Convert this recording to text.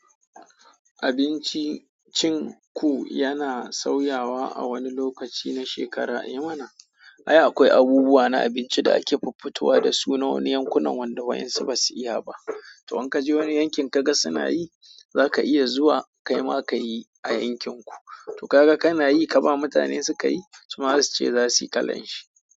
Abincin cin ku yana sauyawa awani lokaci na shekara ai. Eh mana, ai akwai abubuwa na abinci da ake fuffutowa da su na wani yankunan wanda wa'yansu basu iya ba. To in kaje wani yankin kaga suna yi, zaka iya zuwa kaima kayi a yankin ku. To kaga kana yi ka ba mutanen suka yi, su ma zasu ce zasuyi kalan shi.